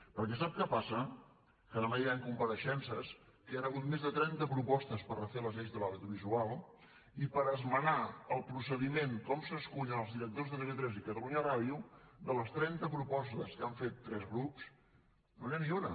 perquè sap què passa que demà hi han compareixences que hi han hagut més de trenta propostes per refer les lleis de l’audiovisual i per esmenar el procediment de com s’escullen els directors de tv3 i catalunya ràdio de les trenta propostes que han fet tres grups no n’hi ha ni una